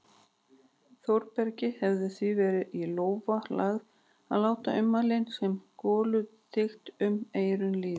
Þórbergi hefði því verið í lófa lagið að láta ummælin sem goluþyt um eyrun líða.